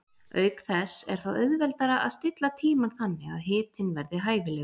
Auk þess er þá auðveldara að stilla tímann þannig að hitinn verði hæfilegur.